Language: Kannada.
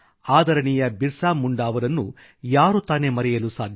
ಆದರಣೀಯ ಬಿರ್ಸಾ ಮುಂಡಾನನ್ನು ಯಾರು ತಾನೇ ಮರೆಯಲು ಸಾಧ್ಯ